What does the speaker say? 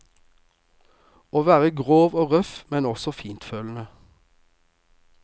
Å være grov og røff, men også fintfølende.